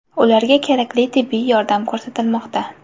Ularga kerakli tibbiy yordam ko‘rsatilmoqda.